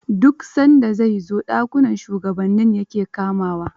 Duk san da zai zo, dakunan shugabanni ya ke kamawa.